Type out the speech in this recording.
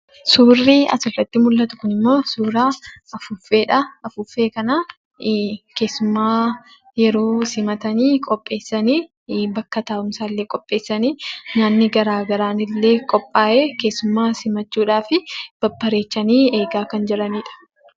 Suurri asirratti mul'atu kun immoo, suuraa afuuffeedha. Afuuffeen kana keessummaa yeroo simatan qopheessanii bakka taa'umsaa illee qopheessanii , nyaanni garaagaraa illee qophaa'ee keessummaa simachuudhaaf babbareechanii kan jiranidha.